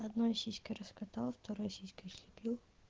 одной сиськой раскатал второй сиськой слепил